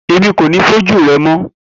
Emi ko ni foju rẹ mọ